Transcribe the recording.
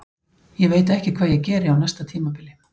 Ég veit ekki hvað ég geri á næsta tímabili.